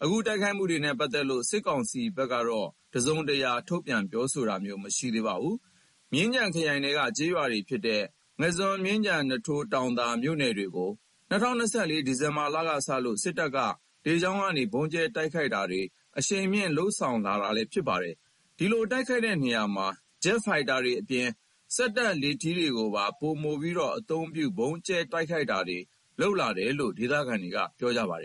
။ အခုတိုက်ခိုက်မှုတွေနဲ့ ပတ်သက်လို့ စစ်ကောင်စီဘက်က တစုံတရာ ထုတ်ပြန် ပြောဆိုတာ မရှိသေးပါဘူး။ မြင်းခြံခရိုင်ထဲက ကျေးရွာတွေ ဖြစ်တဲ့ ငါန်းဇွန် ၊ မြင်းခြံ ၊ နွားထိုး ၊ တောင်သာ မြို့နယ်တွေကို ၂၀၂၄ ခုနှစ် ဒီဇင်ဘာလကစလို့ စစ်တပ်က လေကြောင်းကနေ ဗုံးကြဲတိုက်ခိုက်တာတွေ အရှိန်မြှင့် လုပ်ဆောင်လာနေတာလည်း ဖြစ်ပါတယ်။ ဒီလို တိုက်ခိုက်တဲ့နေရာမှာ ဂျက်ဖိုက်တာတွေအပြင် စက်တပ် လေထီးတွေကိုပါ ပိုမို အသုံးပြု ဗုံးကြဲ တိုက်ခိုက်တာတွေ လုပ်လာတယ်လို့လည်း ဒေသခံတွေက ပြောပါတယ်